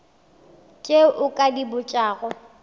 tše o ka di botšago